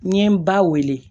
N ye n ba wele